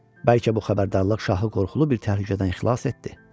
Bəlkə bu xəbərdarlıq şahı qorxulu bir təhlükədən xilas etdi.